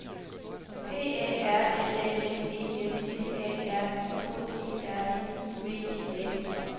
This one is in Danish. P A R L A M E N T A R I K E R N I V E A U